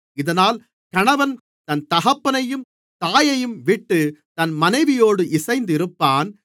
இதனால் கணவன் தன் தகப்பனையும் தாயையும்விட்டுத் தன் மனைவியோடு இணைந்திருப்பான்